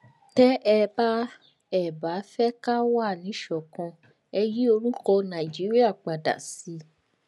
tẹ ẹ bá ẹ bá fẹ ká wà níṣọkan ẹ yí orúkọ nàìjíríà padà sí